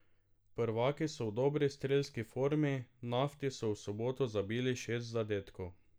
Prvaki so v dobri strelski formi, Nafti so v soboto zabili šest zadetkov.